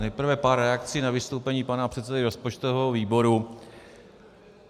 Nejprve pár reakcí na vystoupení pana předsedy rozpočtového výboru.